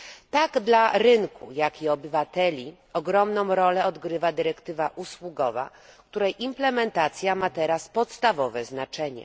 Tak dla rynku, jak i obywateli ogromną rolę odgrywa dyrektywa usługowa, której implementacja ma teraz podstawowe znaczenie.